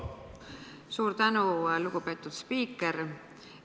Suur tänu, lugupeetud spiiker!